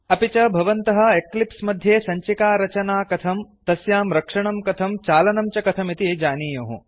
अपि च भवन्तः एक्लिप्स् मध्ये सञ्चिकारचाना कथं तस्यां रक्षणं कथं चालनं च कथमिति जानीयुः